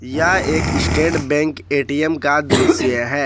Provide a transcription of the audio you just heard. या एक State Bank A T M का दृश्य है।